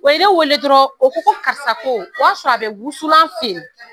O ye wele dɔrɔn o ko karisa ko o y'a sɔrɔ a bɛ wusulan feere.